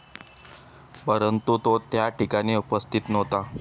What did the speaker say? परंतु, तो त्या ठिकाणी उपस्थित नव्हता.